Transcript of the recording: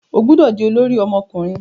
O gbọdọ di olori ọmọkunrin